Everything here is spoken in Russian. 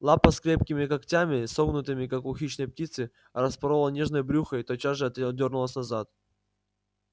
лапа с крепкими когтями согнутыми как у хищной птицы распорола нежное брюхо и тотчас же отдёрнулась назад